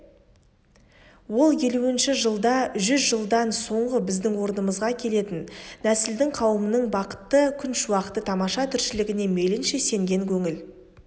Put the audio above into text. ол елуінші жылда жүз жылдан соңғы біздің орнымызға келетін нәсілдің қауымның бақытты күншуақты тамаша тіршілігіне мейлінше сенген көңіл